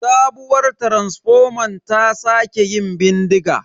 Sabuwar taransifoman ta sake yin bindiga.